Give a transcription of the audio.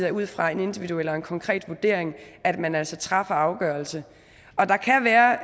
er ud fra en individuel eller konkret vurdering at man altså træffer en afgørelse der kan være